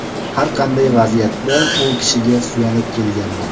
Har qanday vaziyatda u kishiga suyanib kelganman.